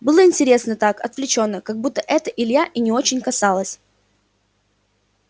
было интересно так отвлечённо как будто это ильи не очень касалось